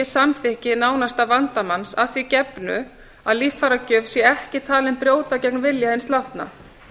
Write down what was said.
samþykki nánasta vandamanns að því gefnu að líffæragjöf sé ekki talin brjóta gegn vilja hins látna